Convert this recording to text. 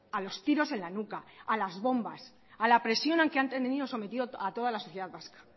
a los tiros en la nuca a las bombas a la presión a la que han tenido sometido a toda la sociedad vasca